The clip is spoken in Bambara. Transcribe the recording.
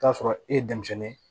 Taa sɔrɔ e ye denmisɛnnin ye